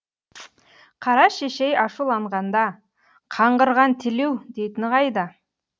қара шешей ашуланғанда қаңғырған телеу дейтіні қайда